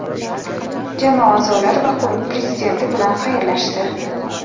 jamoa a’zolari va klub prezidenti bilan xayrlashdi.